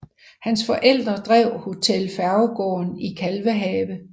Hans forældre drev Hotel Færgegaarden i Kalvehave